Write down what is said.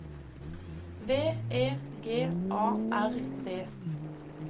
V E G A R D